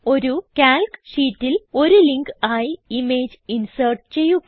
ഒരു കാൽക്ക് ഷീറ്റിൽ ഒരു ലിങ്ക് ആയി ഇമേജ് ഇൻസേർട്ട് ചെയ്യുക